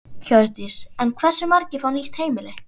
Hjördís: En hversu margir fá nýtt heimili?